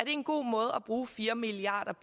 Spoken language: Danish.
en god måde at bruge fire milliard